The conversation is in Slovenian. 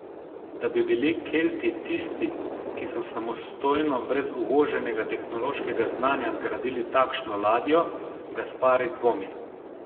Da bi bili Kelti tisti, ki so samostojno, brez uvoženega tehnološkega znanja zgradili takšno ladjo, Gaspari dvomi.